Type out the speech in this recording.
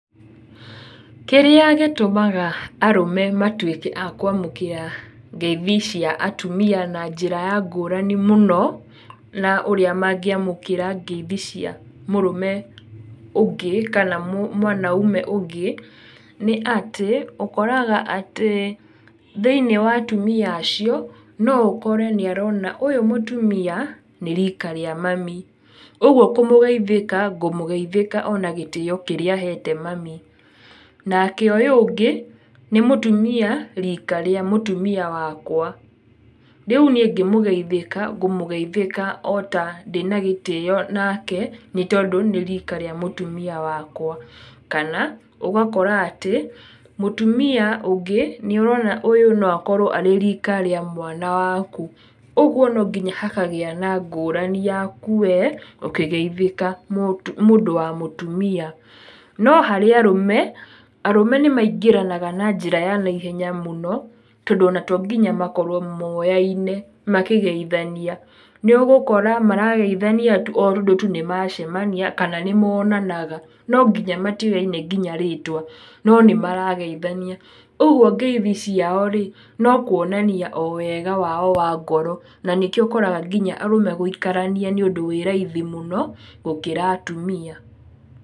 Kĩrĩa gĩtũmaga arũme matuĩke akwamũkĩra ngeithi cia atumia na njĩra ya ngũrani mũno, na ũrĩa mangĩamũkĩra ngeithi cia mũrũme ũngĩ kana mwanaume ũngĩ, nĩ atĩ, ũkoraga atĩ thĩ-inĩ wa atumia acio, no ũkore nĩ arona ũyũ mũtumia, nĩ rika rĩa mami, ũgũo kũmũgeithĩka, ngũmũgeithĩka o na gĩtĩo kĩrĩa hete mami. Nake ũyũ ũngĩ, nĩ mũtumia rika rĩa mũtumia wakwa, rĩu niĩ ngĩmũgeithĩka, ngũmũgeithĩka o ta ndĩna gĩtĩo nake tondũ nĩ rika rĩa mũtumia wakwa. kana ũgakora atĩ, mũtumia ũngĩ, nĩ ũrona ũyũ no akorwo arĩ rika rĩa mwana waku, ũguo nonginya hakagĩa na ngũrani yaku we, ũkĩgeithĩka mũndũ wa mũtumia. No harĩ arũme, arũme nĩ maingĩranaga na njĩra ya naihenya mũno, tondũ ona tonginya makorwo moyaine makĩgeithania. Nĩ ũgũkora marageithania tu o tondũ tu nĩ macemania kana nĩ monanaga, no nginya matiũyaine nginya rĩtwa, no nĩ marageithania. Ũguo ngeithi ciao-rĩ, no kuonania o wega wao wa ngoro, na nĩkio ũkoraga nginya arũme gũikarania nĩ ũndũ wĩ raithi mũno gũkĩra atumia.